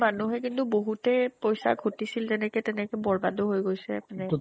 মানুহে কিন্তু বহুতে পইচা ঘতিছিল যেনেকে তেনেকে বৰ্বাদো হৈ গৈছে এপিনে